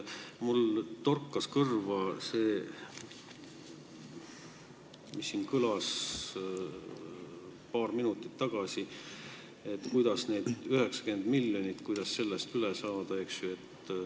Mulle torkas kõrva see, mis siin kõlas paar minutit tagasi, et kuidas sellest 90 miljonist üle saada.